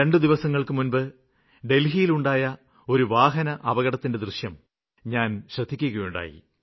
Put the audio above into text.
രണ്ടു ദിവസങ്ങള്ക്ക് മുമ്പ് ദില്ലിയിലുണ്ടായ ഒരു വാഹനാപകടത്തിന്റെ ദൃശ്യം ഞാന് ശ്രദ്ധിക്കുകയുണ്ടായി